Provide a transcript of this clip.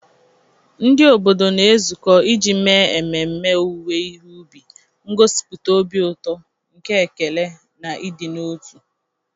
Ndị obodo na-ezukọ iji mee ememme owuwe ihe ubi, ngosipụta obi ụtọ nke ekele na ịdị n'otu.